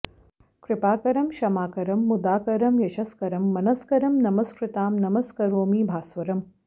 कृपाकरं क्षमाकरं मुदाकरं यशस्करं मनस्करं नमस्कृतां नमस्करोमि भास्वरम्